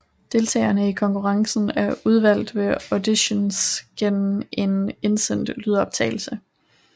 Deltagerne i konkurrencen er udvalgt ved auditions gennem en indsendt lydoptagelse